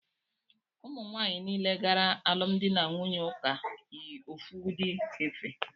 Ụmụ nwanyị niile gara alụmdị n'ụlọ ụka yi ofu udi efe